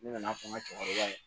Ne nana fɔ n ka cɛkɔrɔba ye